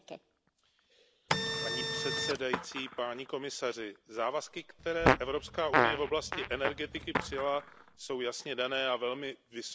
Paní předsedající, páni komisaři, závazky, které EU v oblasti energetiky přijala, jsou jasně dané a velmi vysoko nastavené.